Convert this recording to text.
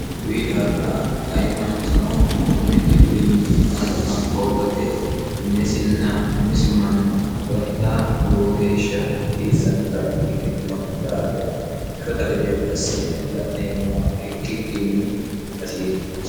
kuyi daafira ayi manchino kunni dhibbinni amadama hoogate minisinna umisi manna agadha lowo geeshsha hasiissannota ikkitino daafira shota gede assine la'neemmo ikkikkinni hasattooti.